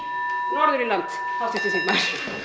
norður í land háttvirtur þingmaður